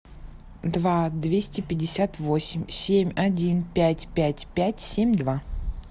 два двести пятьдесят восемь семь один пять пять пять семь два